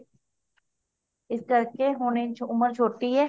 ਇਸ ਕਾਰਕੇ ਹੁਣ ਉਮਰ ਛੋਟੀ ਐ